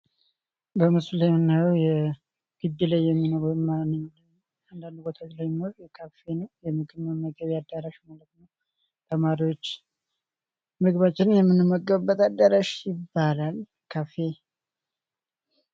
በምስሉ ላይ የምናየው የጊቢ ላይ የሚኖር ወይም አንዳንድ ቦታዎች ላይ የሚኖር ካፌ ነው የምግብ መመገቢያ አዳራሽ ማለት ነው። ተማሪዎች ምግባችንን ምንመገብበት አዳራሽ ይባላል ካፌ።